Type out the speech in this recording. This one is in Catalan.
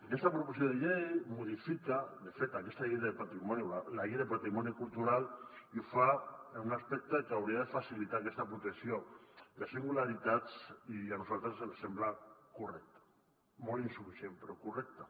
aquesta proposició de llei modifica de fet la llei de patrimoni cultural i ho fa en un aspecte que hauria de facilitar aquesta protecció de singularitats i a nosaltres ens sembla correcte molt insuficient però correcte